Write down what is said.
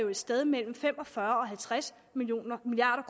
et sted imellem fem og fyrre og halvtreds milliard